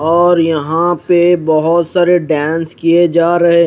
और यहा पे बहोत सारे डांस किये जा रहे है।